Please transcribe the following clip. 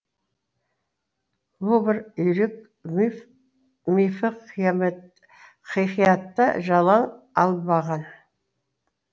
лувр үйрек мифі хикаятта жалаң алынбаған